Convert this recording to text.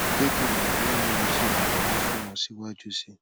jẹ ki n mọ boya mo le ṣe iranlọwọ fun ọ ọ siwaju sii